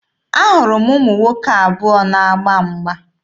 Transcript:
Ahụrụ ụmụ nwoke abụọ na-agba mgba.